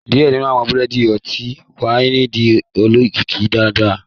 Diẹ ninu awọn burandi ọti-waini jẹ olokiki daradara